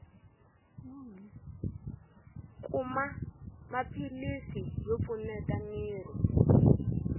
kuma maphilisi yo pfuneta miri